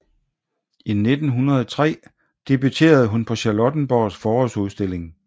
I 1903 debuterede hun på Charlottenborgs Forårsudstilling